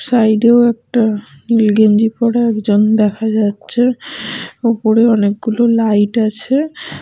Side -ও একটা নীল গেঞ্জি পড়া একজন দেখা যাচ্ছে। ওপরে অনেকগুলো লাইট আছে।